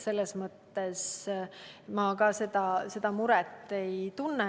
Selles mõttes ka mina seda muret ei tunne.